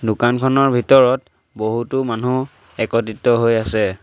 দোকানখনৰ ভিতৰত বহুতো মানুহ একত্ৰিত হৈ আছে।